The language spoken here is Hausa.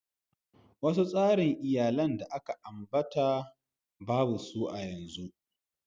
Wasu tsarin iyallin da aka kira ba su a'nan yanzu kuma.